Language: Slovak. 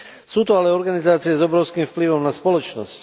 Sú to ale organizácie s obrovským vplyvom na spoločnosť.